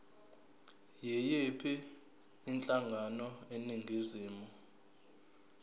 yiyiphi inhlangano eningizimu